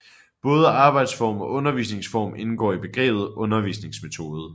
Både arbejdsform og undervisningsform indgår i begrebet undervisningsmetode